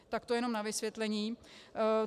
Tak to jenom na vysvětlení.